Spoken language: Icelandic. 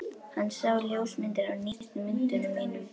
Hann sá ljósmyndir af nýjustu myndunum mínum.